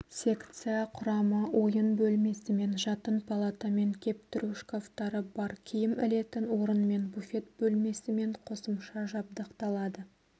секция құрамы ойын бөлмесімен жатын палатамен кептіру шкафтары бар киім ілетін орынмен буфет бөлмесімен қосымша жабдықталады